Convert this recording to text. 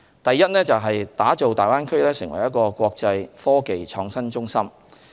第一是打造大灣區成為"國際科技創新中心"。